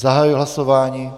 Zahajuji hlasování.